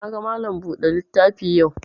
Na ga Malam buɗe littafi yau